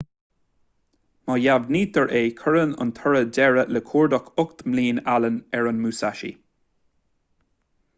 má dheimhnítear é cuireann an toradh deireadh le cuardach ocht mbliana allen ar an musashi